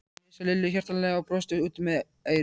Hann heilsaði Lillu hjartanlega og brosti út að eyrum.